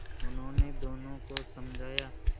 उन्होंने दोनों को समझाया